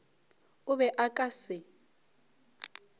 o be o ka se